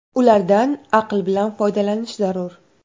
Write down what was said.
Ulardan aql bilan foydalanish zarur.